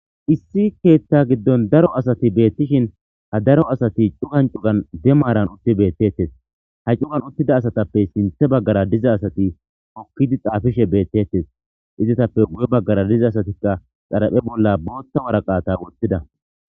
Issi keeththa giddon daro asati beettishin ha daro asati cugan cugan be maaran uttidi beetetes. Ha cugan uttida asatappe sinthe baggara diza asati hokkidi xaafishe beetetes. Izetappe guye baggara diza asatikka xaraphe bolla booththa waraqata woththida.